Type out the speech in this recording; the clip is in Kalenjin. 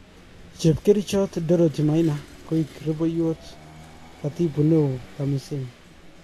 Chepkerichot Dorothy Maina koik rubewot Katibu Neo TAMISEMI.